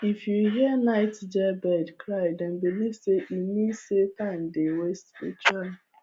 if you hear nightjar bird cry dem believe say e mean say time dey waste spiritually